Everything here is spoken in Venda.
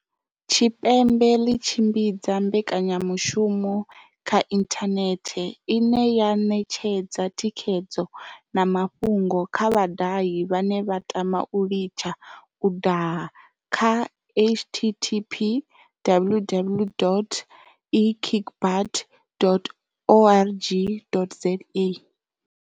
Tshipembe ḽi tshimbidza mbekanyamushumo kha inthanethe, ine ya ṋetshedza thikhedzo na mafhungo kha vhadahi vhane vha tama u litsha u daha kha, http www.ekickbutt.org.za.